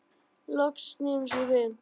Loks snýr hún sér við.